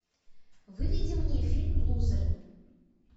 выведи мне фильм лузеры